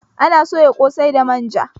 Ana soya ƙosai da manja